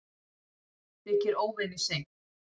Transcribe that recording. Það þykir óvenju seint